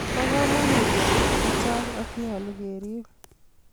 po kamangut ngalek chechang ak nyalun kerib